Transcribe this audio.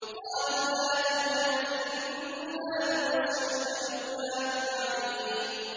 قَالُوا لَا تَوْجَلْ إِنَّا نُبَشِّرُكَ بِغُلَامٍ عَلِيمٍ